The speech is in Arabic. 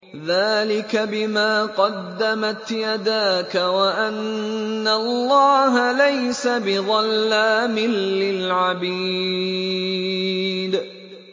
ذَٰلِكَ بِمَا قَدَّمَتْ يَدَاكَ وَأَنَّ اللَّهَ لَيْسَ بِظَلَّامٍ لِّلْعَبِيدِ